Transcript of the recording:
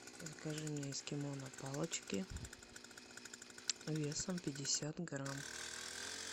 закажи мне эскимо на палочке весом пятьдесят грамм